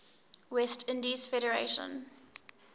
west indies federation